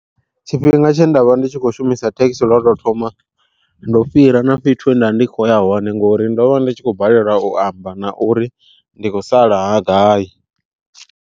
Tshifhinga tshe nda vha ndi tshi khou shumisa thekhisi lwo to thoma, ndo fhira na fhethu he nda ndi kho ya hone ngori ndo vha ndi tshi khou balelwa u amba na uri ndi khou sala gai.